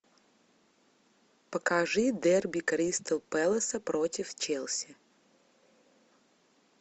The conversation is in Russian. покажи дерби кристал пэласа против челси